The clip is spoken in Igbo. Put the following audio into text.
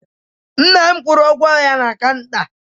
Nna m kwụrụ ụgwọ ya na kanta